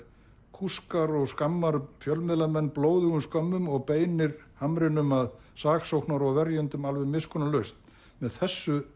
kúskar og skammar fjölmiðlamenn blóðugum skömmum og beinir hamrinum að saksóknara og verjendum alveg miskunnarlaust með þessu